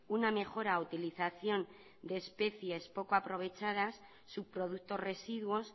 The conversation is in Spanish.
una mejora utilización de especies poco aprovechadas subproductos residuos